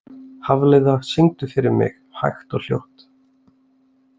Hafliða, syngdu fyrir mig „Hægt og hljótt“.